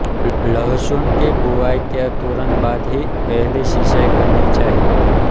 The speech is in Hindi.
लहसुन की बुवाई के तुरन्त बाद ही पहली सिंचाई करनी चाहिए